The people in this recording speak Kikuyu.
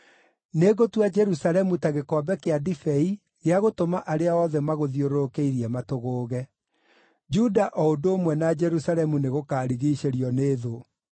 “Nĩngũtua Jerusalemu ta gĩkombe kĩa ndibei gĩa gũtũma arĩa othe magũthiũrũrũkĩirie matũgũũge. Juda o ũndũ ũmwe na Jerusalemu nĩgũkarigiicĩrio nĩ thũ.